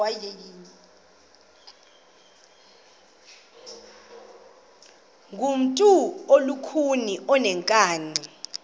ngumntu olukhuni oneenkani